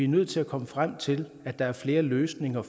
nødt til at komme frem til at der er flere løsninger